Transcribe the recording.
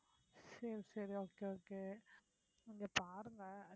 சரி சரி okay okay நீங்க பாருங்க